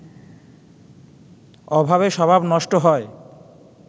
অভাবে স্বভাব নষ্ট হয়